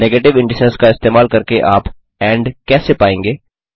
negative indices का इस्तेमाल करके आप एंड कैसे पाएँगे